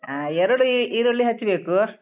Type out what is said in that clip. ಹ ಎರಡು ಈರುಳ್ಳಿ ಹೆಚ್ಬೇಕು.